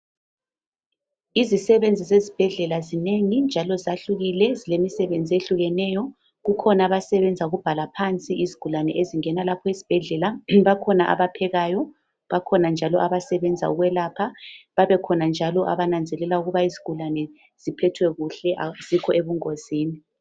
Izisebenzi zesibhedlela zinengi njalo zahlukile zilemisebenzi ehlukeneyo, kukhona abasebenza ukubhala phansi izigulane ezingena lapha esibhedlela, bakhona abaphekayo, bakhona njalo abasebenza ukhwelapha babe khona njalo abananzelela ukuba izigulane ziphethwe kuhle azikho ebungozini